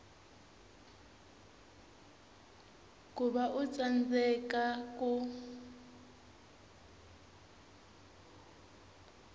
ku va u tsandzeka ku